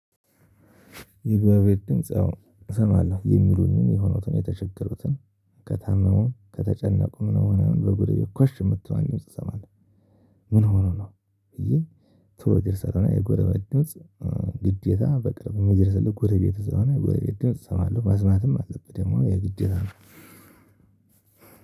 የጎረ ቤት ድምጽ አዎ እሰማሁ የሚሉኝን የሆኑትን የተቸገሩትን ከታመሙም ከተጨነቁም ምን ሆኖ በጉድ ኮሽ የምትለው ድምጽ እሰማለሁ። ምን ሆኖ ነው? ብዬ ቶሎ እደርሳለሁ እና የጎረቤት ድምጽ ግዴታ በቅርብ የሚደርስልህ ጎረቤት ስለሆነ የጎረቤት ድምጽ ሰማለሁ መስማትም አለብህ ደግሞ የግድ ነው።